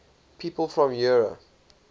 people from eure